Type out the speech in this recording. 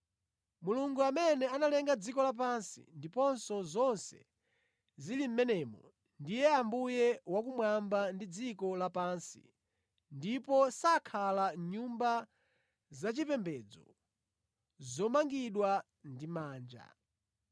“Mulungu amene analenga dziko lapansi ndiponso zonse zili mʼmenemo ndiye Ambuye wakumwamba ndi dziko lapansi ndipo sakhala mʼnyumba zachipembedzo zomangidwa ndi manja.